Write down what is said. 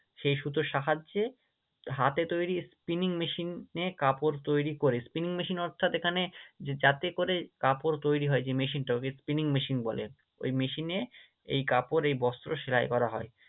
সেই সুতোর সাহায্যে হাতে তৈরী Spinning machine এ কাপড় তৈরী করে Spinning machine অর্থাৎ এখানে যে যাতে করে কাপড় তৈরী হয় যে machine টা ওকে Spinning machine বলে, ওই machine এ এই কাপড় এই বস্ত্র সেলাই করা হয়।